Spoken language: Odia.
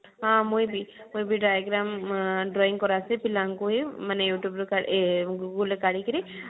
ହଁ ମୁଁଇ ବି ମୁଁଇ ବି diagram ଆଁ drawing କରାଛେ ପିଲାଙ୍କୁ ହିଁ ମାନେ you tube ରୁ ଆଁ ଏ google ରୁ କାଢିକିରି